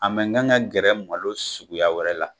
A mɛn gan ga gɛrɛ malo suguya wɛrɛ la.